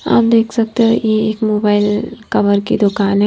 आप देख सकते हो ये एक मोबाइल कवर की दुकान है।